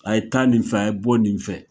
A ye taa nin fɛ, a ye bɔ nin fɛ.